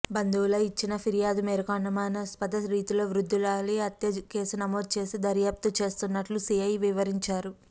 బంధువులు ఇచ్చిన ఫిర్యాదు మేరకు అనుమానాస్పద స్థితిలో వృద్ధురాలి హత్య కేసు నమోదు చేసి దర్యాప్తు చేస్తున్నట్లు సీఐ వివరించారు